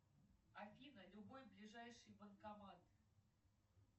афина любой ближайший банкомат